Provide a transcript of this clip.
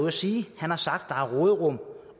at sige han har sagt at der er råderum